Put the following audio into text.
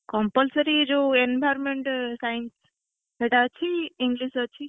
Compulsory ଯୋଉ Environment Science ସେଟା ଅଛି English ଅଛି।